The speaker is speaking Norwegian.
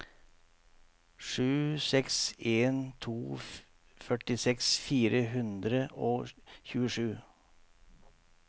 sju seks en to førtiseks fire hundre og tjuesju